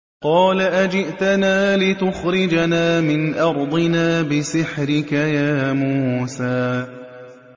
قَالَ أَجِئْتَنَا لِتُخْرِجَنَا مِنْ أَرْضِنَا بِسِحْرِكَ يَا مُوسَىٰ